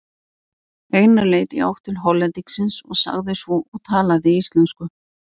Einar leit í átt til Hollendingsins og sagði svo og talaði íslensku